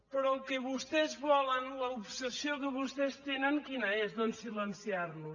però el que vostès volen l’obsessió que vostès tenen quina és doncs silenciar nos